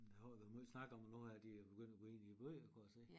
Der har jo været meget snak om at nu er de begyndt at gå ind i æ byer kunne jeg se